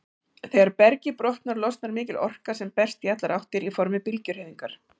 Þegar bergið brotnar, losnar mikil orka sem berst í allar áttir í formi bylgjuhreyfingar.